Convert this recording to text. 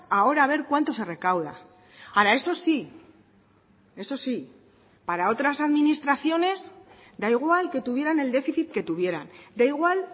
ahora a ver cuánto se recauda ahora eso sí eso sí para otras administraciones da igual que tuvieran el déficit que tuvieran da igual